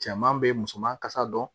Cɛman bɛ musoman kasa dɔn